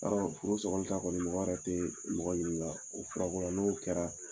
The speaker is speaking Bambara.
Yarɔ furu sɔgɔli ta kɔni mɔgɔ yɛrɛ tɛ mɔgɔ ɲini o furako la n'o kɛra